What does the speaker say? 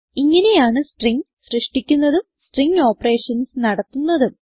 ഇങ്ങനെയാണ് സ്ട്രിംഗ് സൃഷ്ടിക്കുന്നതും string operations നടത്തുന്നതും